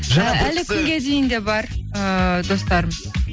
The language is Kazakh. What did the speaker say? і әлі күнге дейін де бар ыыы достарым